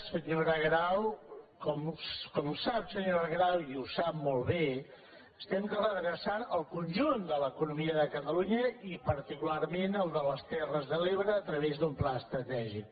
senyora grau com sap i ho sap molt bé estem redreçant el conjunt de l’eco·nomia de catalunya i particularment la de les ter·res de l’ebre a través d’un pla estratègic